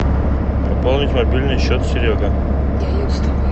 пополнить мобильный счет серега